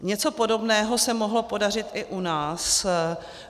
Něco podobného se mohlo podařit i u nás.